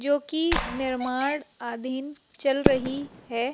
जो की निर्माण आधीन चल रही है।